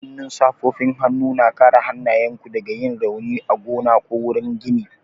Hannun safofin hannu na kare hannayenku daga yin rauni a gona ko wurin gini